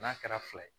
N'a kɛra fila ye